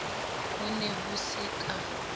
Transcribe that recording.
ho ne ho se ka